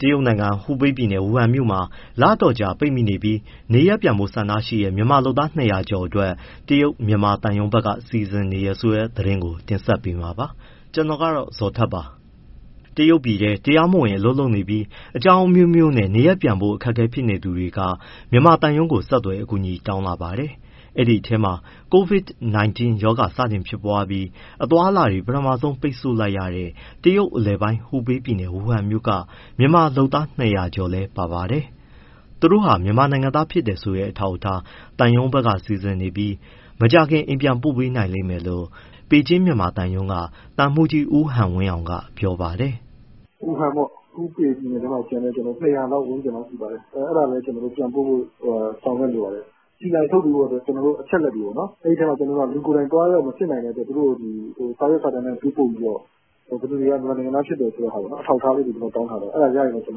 တရုတ်နိုင်ငံ၊ ဟူပေပြည်နယ်၊ ဝူဟန်မြို့မှာ လအတော်ကြာ ပိတ်မိနေပြီး နေရပ်ပြန်ဖို့ ဆန္ဒရှိတဲ့ မြန်မာလုပ်သား ၂၀၀ ကျော်အတွက် တရုတ်နိုင်ငံ မြန်မာသံရုံးဘက်က စီစဉ်နေတယ်ဆိုတဲ့ သတင်းကို ဗွီအိုအေမြန်မာပိုင်းသတင်းထောက် ကိုဇော်ထက်က တင်ပြပေးမှာပါ။ တရုတ်ပြည်ထဲ တရားမဝင် အလုပ်လုပ်နေပြီး အကြောင်းအမျိုမျိုးနဲ့ နေရပ်ပြန်ဖို့အခက်အခဲဖြစ်နေသူတွေက မြန်မာသံရုံးကို ဆက်သွယ် အကူအညီတောင်းလာပါတယ်။ အဲဒီအထဲမှာ COVID-19 ရောဂါစတင်ဖြစ်ပွားပြီး အသွားအလာတွေ ပထမဦးဆုံး ပိတ်ဆို့လိုက်ရတဲ့ တရုတ်အလယ်ပိုင်း ဟူပေပြည်နယ်၊ ဝူဟန်မြို့က မြန်မာလုပ်သား ၂၀၀ ကျော်လည်း ပါပါတယ်။ သူတို့ဟာ မြန်မာနိုင်ငံသားဖြစ်တယ်ဆိုတဲ့ အထောက်အထား သံရုံးက စီစဉ်နေပြီး မကြာခင် အိမ်ပြန်ပို့ပေးနိုင်လိမ့်မယ်လို့ ပေကျင်းမြန်မာသံရုံးက သံမှူးကြီး ဦးဟန်ဝင်းအောင်က ပြောပါတယ်။ “ဝူဟန်ပေါ့၊ ဟူပေပြည်နယ်ထဲမှာကျန်တဲ့ ၂၀၀ ဝန်းကျင်လောက် ရှိပါတယ်။ အဲဒါလည်း ပြန်ပို့ဖို့ ကျနော်တို့ ဆောင်ရွက်နေပါတယ်။ CI ထုတ်ပေးဖို့ အချက်အလက်တွေပေါ့။ အဲဒီအထဲမှာ လူကိုယ်တိုင် သွားရောက်မစစ်နိုင်တဲ့အတွက် သူတို့ကို စာရွက်စာတမ်း ပေးပို့ပြီးတော့ ဘယ်သူတွေက မြန်မာနိုင်ငံသား ဖြစ်တယ်ဆိုတဲ့ဟာပေါ့ အထောက်အထားလေးတွေ တောင်းထားပါတယ်။ အဲဒါရရင် မြန်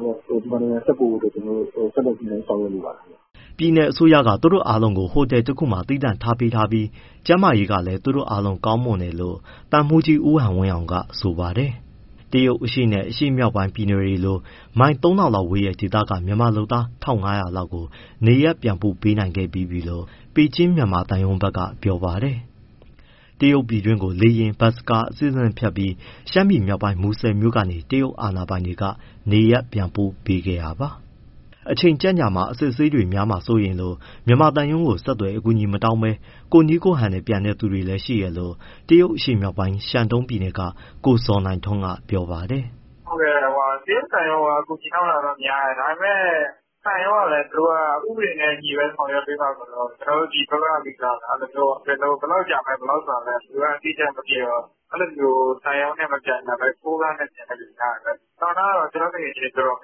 မာနိုင်ငံဆက်ပို့ဖို့ ညှိနှိုင်းဆောင်ရွက်နေပါတယ်။” ပြည်နယ်အစိုးရက သူတို့အားလုံးကို ဟိုတယ်တခုမှာ သီးသန့်ထားပေးထားပြီး ကျန်းမာရေးလည်း သူတို့ အားလုံးကောင်းမွန်တယ်လို့ သံမှူးကြီး ဦးဟန်ဝင်းအောင်က ဆိုပါတယ်။ တရုတ်အရှေ့နဲ့ အရှေ့မြောက်ပိုင်း ပြည်နယ်တွေလို မိုင် ၃,၀၀၀ လောက်ဝေးတဲ့ ဒေသက မြန်မာလုပ်သား ၁,၅၀၀ လောက်ကို နေရပ်ပြန်ပို့ပေးခဲ့ပြီးပြီလို့ ပေကျင်း မြန်မာသံရုံးဘက်ကပြောပါတယ်။ တရုတ်ပြည်တွင်းကို လေယာဉ်၊ ဘတ်စ်ကား အဆင့်ဆင့်ဖြတ်ပြီး ရှမ်းပြည်မြောက်ပိုင်း မူဆယ်မြို့ကနေ တရုတ်အာဏာပိုင်တွေက နေရပ်ပြန်ပို့ပေးခဲ့တာပါ။ အချိန်ကြန့်ကြာမှာ၊ အစစ်အဆေးတွေများမှာ စိုးရိမ်လို့ မြန်မာသံရုံးကို ဆက်သွယ်၊ အကူအညီ မတောင်းဘဲ ကိုယ့်နည်းကိုယ့်ဟန်ပြန်တဲ့ သူတွေလည်း ရှိတယ်လို့ တရုတ်အရှေ့မြောက်ပိုင်း ရှန်းတုန်းပြည်နယ်က ကိုဇော်နိုင်ထွန်းက ပြောပါတယ်။ “တရုတ်သံရုံးကို အကူအညီတောင်းတာတော့ များတယ်။ ဒါပေမဲ့ သံရုံးက ဥပဒေနဲ့အညီပဲ ဆောင်ရွက်ပေးမှာဆိုတော့ ကျနော်တို့ ဒီဘက်က ဘယ်လောက် ကြာမယ်ဆိုတာ အတိအကျမသိတော့ သံရုံးနဲ့ မပြန်ကြဘဲ ကားနဲ့ ပြန်တဲ့သူများတယ်။ ကျနော့်သူငယ်ချင်းတွေ အတော်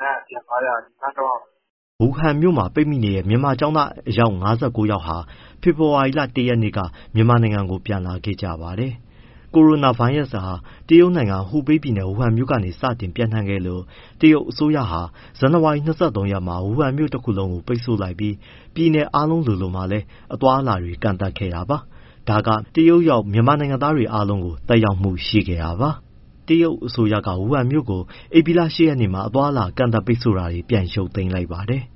များတယ်။ ပြန်သွားကြတာ ရှန်းတုန်းက။” ဝူဟန်မြို့မှာ ပိတ်မိနေတဲ့ မြန်မာကျောင်းသား အယောက် ၅၉ ယောက်ဟာလည်း နှစ်နိုင်ငံအစီအစဉ်နဲ့ ဖေဖော်ဝါရီ ၁ ရက်က မြန်မာနိုင်ငံကို ပြန်လာခဲ့ပါတယ်။ ကိုရိုနာဗိုင်းရပ်စ်ဟာ တရုတ်နိုင်ငံ ဟူပေပြည်နယ် ဝူဟန်မြို့ကနေ စတင်ကူးစက်ပျံ့နှံ့ခဲ့လို့ တရုတ်အစိုးရက ဇန်နဝါရီ ၂၃ မှာ ဝူဟန်မြို့တခုလုံးကို ပိတ်ဆို့လိုက်ပြီး ပြည်နယ်အားလုံးလိုလိုမှာ အသွားအလာတွေ ကန့်သတ်ခဲ့ပါတယ်။ ဒါက တရုတ်ရောက် မြန်မာနိုင်ငံသားတွေကိုလည်း သက်ရောက်မှုရှိခဲ့တာပါ။ တရုတ်အစိုးရက ဝူဟန်မြို့ကို ဧပြီလ ၈ ရက်မှာ အသွားအလာ ကန့်သတ်ပိတ်ဆို့တာတွေ ပြန်ရုပ်သိမ်းလိုက်ပါတယ်။